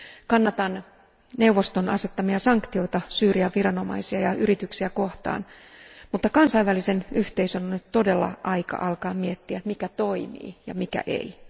Kannatan neuvoston asettamia sanktioita Syyrian viranomaisia ja yrityksiä kohtaan, mutta kansainvälisen yhteisön on nyt todella aika alkaa miettiä, mikä toimii ja mikä ei.